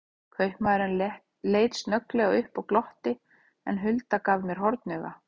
Kaupamaðurinn leit snögglega upp og glotti, en Hulda gaf mér hornauga.